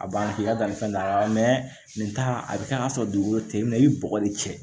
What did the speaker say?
A banna k'i ka dannifɛn da nin ta a bɛ kɛ k'a sɔrɔ dugukolo te min i bi bɔgɔ de cɛn